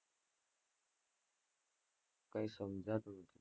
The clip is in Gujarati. કઈ સમજાતું નથી.